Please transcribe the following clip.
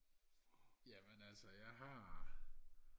jamen altså jeg har